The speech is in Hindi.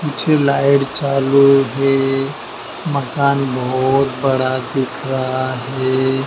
पीछे लाईट चालू भी मकान बहोत बड़ा दिख रहा है।